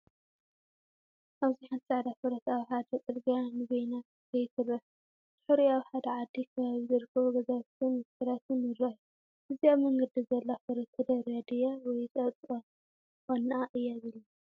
ኣብዚ ሓንቲ ጻዕዳ ፈረስ ኣብ ሓደ ጽርግያ ንበይና ክትከይድ ትርአ። ድሒሩ ኣብ ሓደ ዓዲ ከባቢ ዝርከቡ ገዛውትን መትከላትን ይረኣዩ። እዛ ኣብ መንገዲ ዘላ ፈረስ ተደርብያ ድያ ወይስ ኣብ ጥቓ ዋናኣ እያ ዘላ?